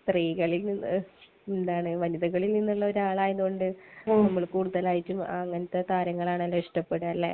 സ്ത്രീകളിൽ നിന്ന്...വനിതകളിൽ നിന്നൊരാളായത് കൊണ്ട് നമ്മൾ കൂടുതലായിട്ടും അങ്ങനത്തെ താരങ്ങളെയാണല്ലോ ഇഷ്ടപ്പെടുക. അല്ലെ?